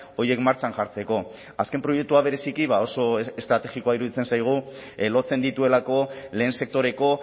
horiek martxan jartzeko azken proiektua bereziki oso estrategikoa iruditzen zaigu lotzen dituelako lehen sektoreko